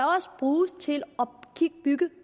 bruges til at bygge